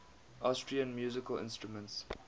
austrian musical instruments